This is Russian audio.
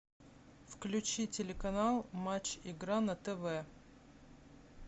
включи телеканал матч игра на тв